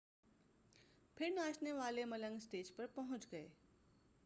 پھر ناچنے والے ملنگ اسٹیج پر پہنچ گئے